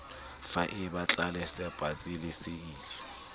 faeba tlelase patsi le seili